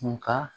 Nka